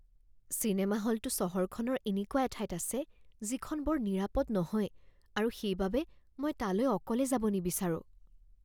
cinema হলটো চহৰখনৰ এনেকুৱা এঠাইত আছে যিখন বৰ নিৰাপদ নহয় আৰু সেইবাবে মই তালৈ অকলে যাব নিবিচাৰোঁ